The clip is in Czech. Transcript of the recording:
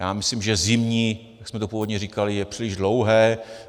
Já myslím, že zimní, jak jsme to původně říkali, je příliš dlouhé.